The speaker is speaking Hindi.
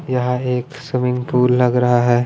यहां एक स्विमिंग पूल लग रहा है।